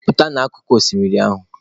Pụta n'akụkụ oshimiri ahụ!